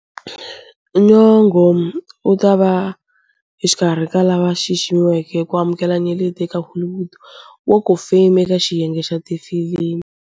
Nyong'o u ta va exikarhi ka lava xiximiweke ku amukela nyeleti eka Hollywood Walk of Fame eka xiyenge xa tifilimi.